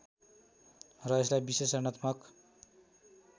र यसलाई विश्लेषणात्मक